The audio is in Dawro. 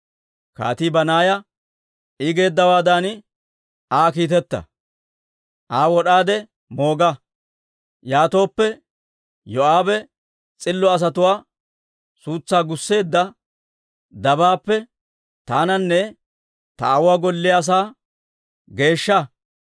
Kaatii Banaaya, «I geeddawaadan Aa kiiteta; Aa wod'aade mooga! Yaatooppe, Yoo'aabe s'illo asatuwaa suutsaa gusseedda dabaappe taananne ta aawuwaa golliyaa asaa geeshshaasa.